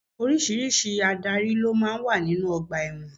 Oríṣiríṣi Ádárì ló máa ń wà nínú ọgbà ẹ̀wọ̀n.